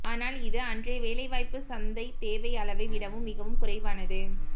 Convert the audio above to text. ஆனால் இது அன்றைய வேலைவாய்ப்பு சந்தை தேவை அளவை விடவும் மிகவும் குறைவானது